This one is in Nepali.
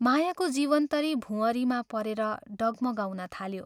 मायाको जीवनतरी भुंवरीमा परेर डगमगाउन थाल्यो।